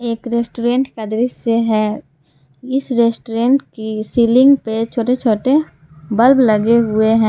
एक रेस्टोरेंट का दृश्य है इस रेस्टोरेंट की सीलिंग पे छोटे छोटे बल्ब लगे हुए हैं।